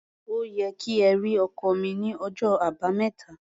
Ó yẹ kí ẹ rí ọkọ́ mi ní ọjọ́ Àbámẹ́ta.